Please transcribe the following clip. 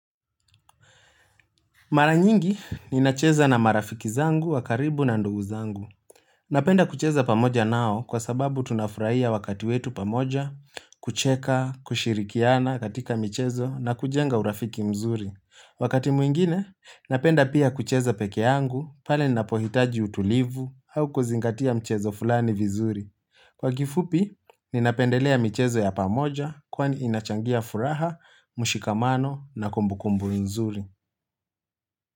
Maranyingi, ninacheza na marafiki zangu wa karibu na ndugu zangu. Napenda kucheza pamoja nao kwa sababu tunafurahia wakati wetu pamoja, kucheka, kushirikiana katika michezo na kujenga urafiki mzuri. Wakati mwingine, napenda pia kucheza peke yangu pale ninapohitaji utulivu au kuzingatia mchezo fulani vizuri. Kwa kifupi, ninapendelea mchezo ya pamoja kwani inachangia furaha, mushikamano na kumbukumbu nzuri.